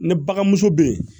Ne balimamuso bɛ yen